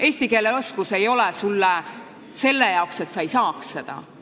Eesti keele oskus ei ole selleks, et sa ei saaks seda.